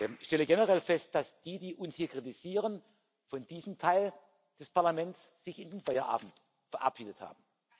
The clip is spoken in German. Ich stelle generell fest, dass jene, die uns hier kritisieren, von diesem Teil des Parlaments sich in den Feierabend verabschiedet haben.